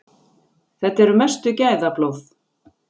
Þetta eru mestu gæðablóð.